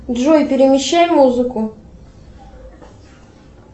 джой перемещай музыку